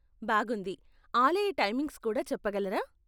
బాగుంది! ఆలయ టైమింగ్స్ కూడా చెప్పగలరా?